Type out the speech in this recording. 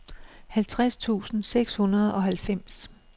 halvfjerds tusind seks hundrede og halvfems